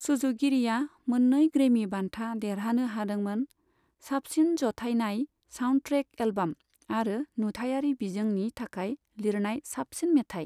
सुजुगिरिया मोन्नै ग्रेमि बान्था देरहानो हादोंमोन, साबसिन जथायनाय साउन्डट्रेक एल्बाम आरो नुथायारि बिजोंनि थाखाय लिरनाय साबसिन मेथाय।